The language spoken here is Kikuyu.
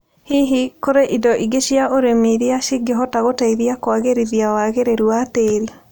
Hihi, kũrĩ na indo ingĩ cia ũrĩmi irĩa cingĩhota gũteithia kũagĩrithia wagĩrĩru wa tĩri?